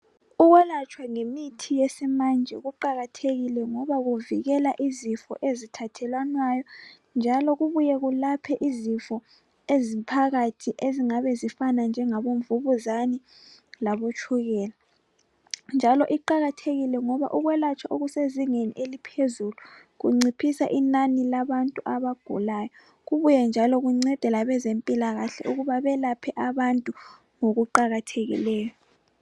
Ukwelatshwa ngemithi yesimanje kuqakathekile ngoba kuvikela izifo ezithathelwanayo njalo kubuye kulaphe izifo eziphakathi ezingabe zifana njengabo mvukuzane labo tshukela, njalo kuqakathekile ngoba ukwelatshwa okusezingeni eliphezulu kuncedisa inani labantu abagulayo, kubuye njalo kuncede labezempilakahle ukuba belaphe abantu ngokuqakathekileyo.